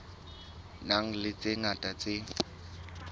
nang le tse ngata tse